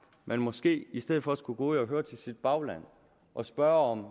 man måske i stedet for skulle gå ud og høre sit bagland og spørge om